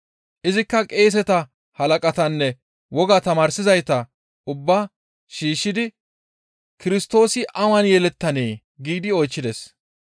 Izikka qeeseta halaqatanne woga tamaarsizayta ubba shiishshidi, «Kirstoosi awan yelettanee?» giidi oychchides.